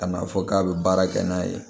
Ka n'a fɔ k'a bɛ baara kɛ n'a ye